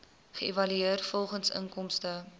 geëvalueer volgens inkomste